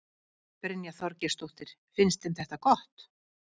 Brynja Þorgeirsdóttir: Finnst þeim þetta gott?